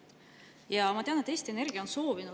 Ja ma tean, et Eesti Energia on soovinud …